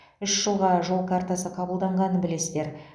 үш жылға жол картасы қабылданғанын білесіздер